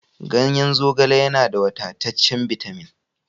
Ganyen zogale yana da wadataccen bitamin